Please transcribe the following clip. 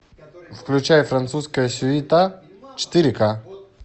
включай французская суета четыре ка